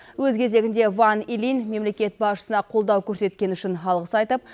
өз кезегінде ван илинь мемлекет басшысына қолдау көрсеткені үшін алғыс айтып